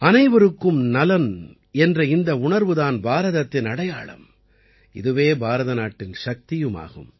அனைவருக்கும் நலன் என்ற இந்த உணர்வு தான் பாரதத்தின் அடையாளம் இதுவே பாரத நாட்டின் சக்தியும் ஆகும்